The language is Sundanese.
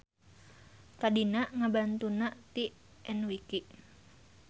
Tadina ngabantunna ti enwiki.